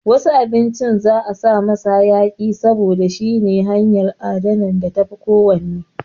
Wasu abinci za'a sa musu hayaƙi saboda shine hanyan adana da tafi ko wann